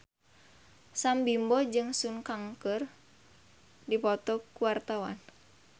Sam Bimbo jeung Sun Kang keur dipoto ku wartawan